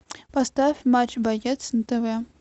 поставь матч боец на тв